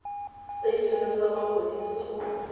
setei eneng sa mapodisi go